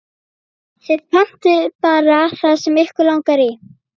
Þið pantið bara það sem ykkur langar í.